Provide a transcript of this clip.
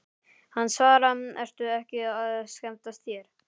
Hann svaraði, Ertu ekki að skemmta þér?